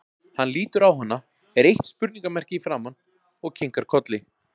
Hann lítur á hana, er eitt spurningamerki í framan, og kinkar kolli.